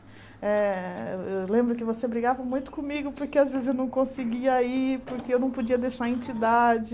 Eh eu lembro que você brigava muito comigo porque às vezes eu não conseguia ir, porque eu não podia deixar a entidade.